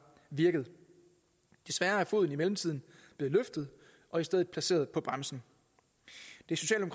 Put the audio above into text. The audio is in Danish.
virket desværre er foden i mellemtiden blevet løftet og i stedet placeret på bremsen det